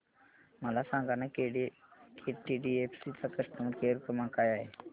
मला सांगाना केटीडीएफसी चा कस्टमर केअर क्रमांक काय आहे